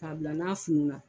Kabila n'a fununna